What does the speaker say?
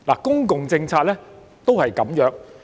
公共政策也如是。